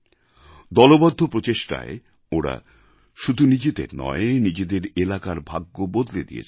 দলবদ্ধ প্রচেষ্টায় ওঁরা শুধু নিজেদের নয় নিজেদের এলাকার ভাগ্য বদলে দিয়েছেন